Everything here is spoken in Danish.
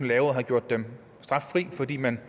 lavet har gjort dem straffri fordi man